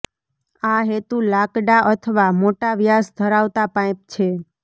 આ હેતુ લાકડા અથવા મોટા વ્યાસ ધરાવતા પાઇપ છે